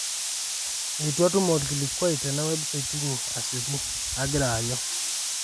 eitu atum olkilikuai tena website inyi asioki ,angira aanyu